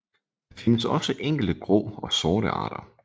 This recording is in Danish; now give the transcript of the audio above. Der findes også enkelte grå og sorte arter